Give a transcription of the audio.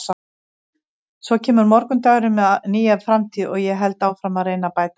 Svo kemur morgundagurinn með nýja framtíð og ég held áfram að reyna að bæta mig.